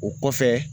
O kɔfɛ